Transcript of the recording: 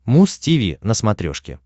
муз тиви на смотрешке